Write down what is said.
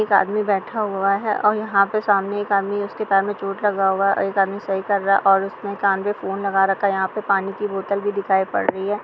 एक आदमी बैठा हुआ है और यहाँ पे सामने एक आदमी उसके पैर मे चोट लगा हुआ है। और एक आदमी सही कर रहा है और उसने कान पे फ़ोन लगा रखा है। यहाँ पे पानी की बोतल भी दिखाई पड़ रही है।